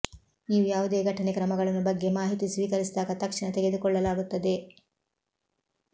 ನೀವು ಯಾವುದೇ ಘಟನೆ ಕ್ರಮಗಳನ್ನು ಬಗ್ಗೆ ಮಾಹಿತಿ ಸ್ವೀಕರಿಸಿದಾಗ ತಕ್ಷಣ ತೆಗೆದುಕೊಳ್ಳಲಾಗುತ್ತದೆ